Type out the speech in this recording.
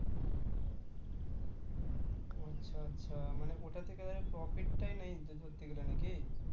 আচ্ছা আচ্ছা ওটা থেকে আমি profit টাই নেই .